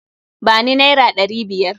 Ba ni naira ɗari biyar!